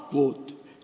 Kalakvoot.